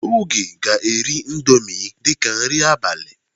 Oge ga-eri indọmii dịka nri abalị.